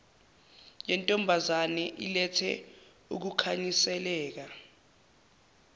yentombazane ilethe ukukhanyiseleka